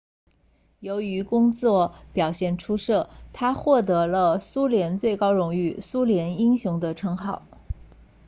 由于工作表现出色他获得了苏联最高荣誉苏联英雄的称号